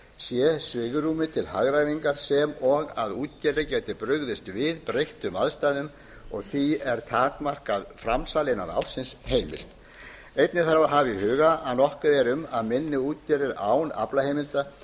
sé svigrúmi til hagræðingar og að útgerðir geti brugðist við breyttum aðstæðum og því er takmarkað framsal innan ársins heimilt einnig þarf að hafa í huga að nokkuð er um að minni útgerðir án aflaheimildar